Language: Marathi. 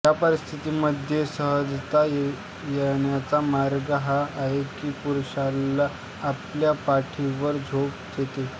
या स्थितीमध्ये सहजता येण्याचा मार्ग हा आहे की पुरुषाला आपल्या पाठीवर झोपू दे